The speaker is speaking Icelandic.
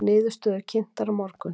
Niðurstöður kynntar á morgun